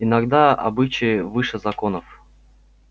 иногда обычаи выше законов